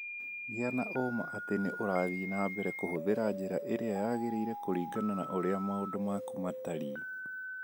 Gĩa na ũũma atĩ nĩ ũrathiĩ na mbere kũhũthĩra njĩra ĩrĩa yagĩrĩire kũringana na ũrĩa maũndũ maku matariĩ.